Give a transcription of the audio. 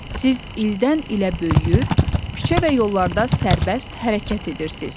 Siz ildən-ilə böyüyür, küçə və yollarda sərbəst hərəkət edirsiz.